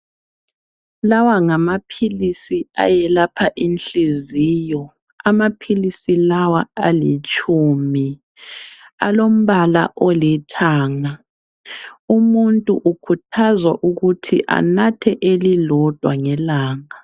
Lawa ngamaphilisi ayelapha inhliziyo amaphilisi lawa alitshumi alombala olithanga umuntu ukhuthazwa ukuthi anathe elilodwa ngelanga.